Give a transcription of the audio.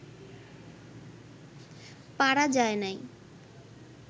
পারা যায় নাই